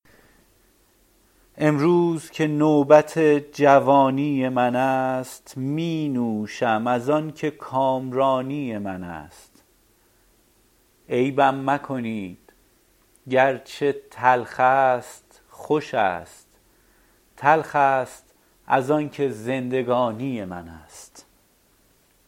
امروز که نوبت جوانی من است می نوشم از آن که کامرانی من است عیبم مکنید گرچه تلخ است خوش است تلخ است از آن که زندگانی من است